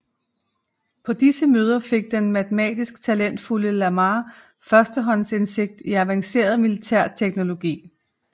På disse møder fik den matematisk talentfulde Lamarr førstehåndsindsigt i avanceret militærteknologi